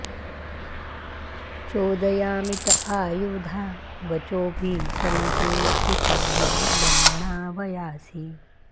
चो॒दया॑मि त॒ आयु॑धा॒ वचो॑भिः॒ सं ते॑ शिशामि॒ ब्रह्म॑णा॒ वयां॑सि